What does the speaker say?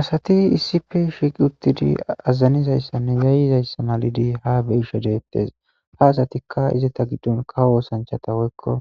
asati issi pe shiqi uttidi aazanizayssanne zayizayssa malidi ha beisha deettes ha asatikka ize ta giddon kawo oosanchata woykko